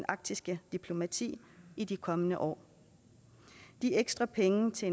arktiske diplomati i de kommende år de ekstra penge til